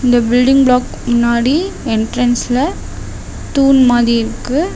இந்த building block முன்னாடி என்ட்ரன்ஸ்ல தூண் மாரி இருக்கு.